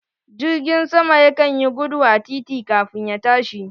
Jirgin sama ya kan yi gudu a titi kamin ya tashi